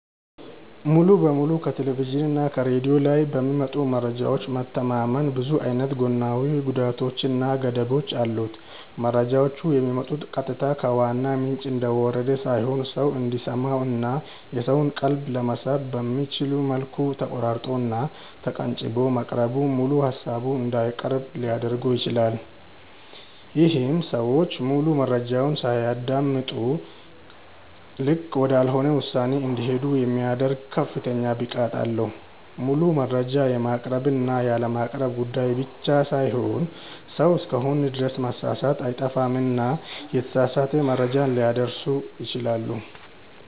ሙሉ በሙሉ ከቴሌቭዥን እና ከሬድዮ ላይ በሚመጡ መረጃዎች መተማመን ብዙ አይነት ጎናዊ ጉዳቶች እና ገደቦች አሉት። መረጃዎቹ የሚመጡት ቀጥታ ከዋናው ምንጭ እንደወረደ ሳይሆን ሰው እንዲሰማው እና የሰውን ቀልብ ለመሳብ በሚመች መልኩ ተቆራርጦ እና ተቀንጭቦ መቅረቡ ሙሉ ሃሳቡን እንዳይቀርብ ሊያድርገው ይችላል። ይሄም ሰዎች ሙሉ መረጃውን ሳያደምጡ ልክ ወዳልሆነ ውሳኔ እንዲሄዱ የሚያደርግ ከፍተኛ ብቃት አለው። ሙሉ መረጃ የማቅረብ እና ያለማቅረብ ጉዳይ ብቻ ሳይሆን ሰው እስከሆንን ድረስ መሳሳት አይጠፋምና የተሳሳተ መረጃ ሊያደርሱ ይችላሉ።